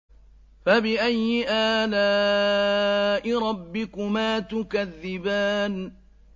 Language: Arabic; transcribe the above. فَبِأَيِّ آلَاءِ رَبِّكُمَا تُكَذِّبَانِ